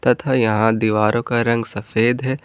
तथा यहां दीवारों का रंग सफेद है।